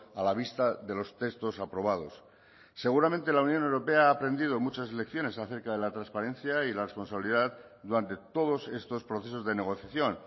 a la vista de los textos aprobados seguramente la unión europea ha aprendido muchas lecciones acerca de la transparencia y la responsabilidad durante todos estos procesos de negociación